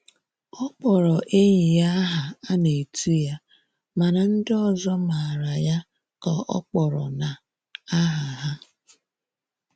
Ọ kpọrọ enyi ya aha a na-etu ya mana ndị ọzọ mara ya ka ọ kpọrọ na aha ha.